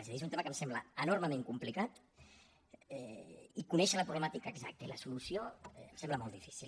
és a dir és un tema que em sembla enormement complicat i conèixer la problemàtica exacta i la solució em sembla molt difícil